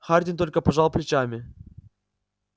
хардин только пожал плечами